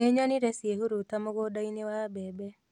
Nĩnyonire ciĩhuruta mũgũnda-inĩ wa mbembe